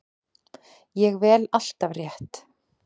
Ég vel alltaf rétt.